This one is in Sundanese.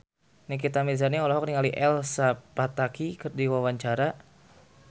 Nikita Mirzani olohok ningali Elsa Pataky keur diwawancara